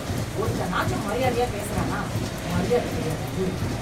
ஒருத்தனாச்சும் மரியாதையா பேசுறானா, மரியாதை தெரியாத ஊரு.